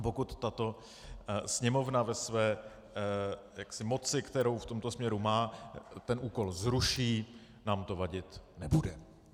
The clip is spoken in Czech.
A pokud tato Sněmovna ve své moci, kterou v tomto směru má, ten úkol zruší, nám to vadit nebude.